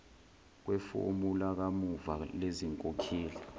kwefomu lakamuva lezinkokhelo